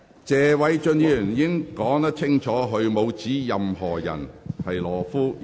謝偉俊議員已經表明，他沒有指任何人是懦夫。